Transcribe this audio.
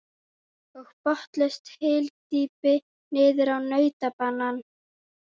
Og botnlaust hyldýpi niður á nautabanann.